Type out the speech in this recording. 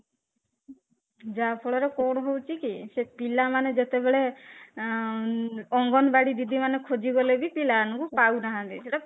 ଯାହା ଫଳରେ କଣ ହଉଚି କି ସେ ପିଲାମାନେ ଯେତେ ବେଳେ ଆଂ ଅଙ୍ଗନବାଡି ଦିଦି ମାନେ ଖୋଜି ଗଲେ ବି ପିଲାମାନଙ୍କୁ ପାଉନାହାନ୍ତି ସେଇଟା